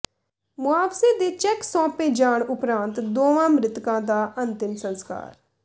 ਮੁਆਵਜੇ ਦੇ ਚੈੱਕ ਸੌ ਾਪੇ ਜਾਣ ਉਪਰੰਤ ਦੋਵਾਂ ਮਿ੍ਤਕਾਂ ਦਾ ਅੰਤਿਮ ਸੰਸਕਾਰ